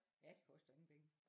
Ja det koster ingen penge